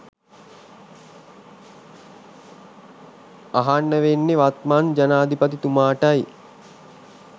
අහන්න වෙන්නේ වත්මන් ජනාධිපතිතුමාටයි